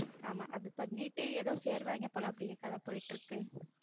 ஆமா, அது பண்ணிட்டு ஏதோ சேருவாங்க போல அப்படியே கதை போயிட்டு இருக்கு.